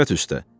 Rüşvət üstə.